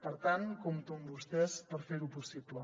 per tant compto amb vostès per fer ho possible